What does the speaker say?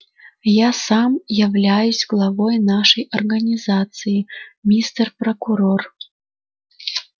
я сам являюсь главой нашей организации мистер прокурор